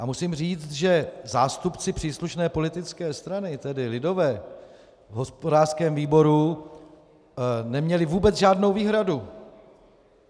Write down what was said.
A musím říct, že zástupci příslušné politické strany, tedy lidové, v hospodářském výboru neměli vůbec žádnou výhradu.